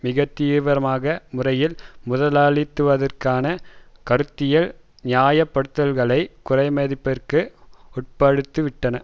மிக தீவிரமான முறையில் முதலாளித்துவத்திற்கான கருத்தியல் நியாயப்படுத்தல்களை குறைமதிப்பிற்கு உட்படுத்திவிட்டன